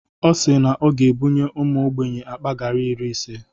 Ọ si na ọ ga-ebunye ụmụ ogbenye akpa gari iri ise.